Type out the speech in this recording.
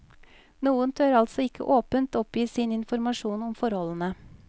Noen tør altså ikke åpent oppgi sin informasjon om forholdene.